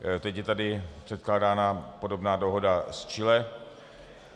Teď je tady předkládána podobná dohoda s Chile.